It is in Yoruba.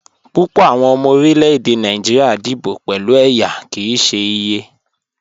Púpọ̀ awọn ọmọ orílẹ̀-èdè Nàìjíríà díbò pẹ̀lú ẹyá kí í ṣè iyẹ.